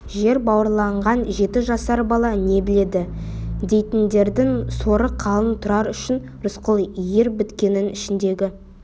жер бауырлаған жеті жасар бала не біледі дейтіндердің соры қалың тұрар үшін рысқұл ер біткеннің ішіндегі